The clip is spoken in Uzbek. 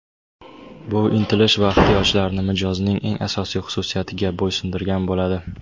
bu intilish va ehtiyojlarni mijozning eng asosiy xususiyatiga bo‘ysundirgan bo‘ladi.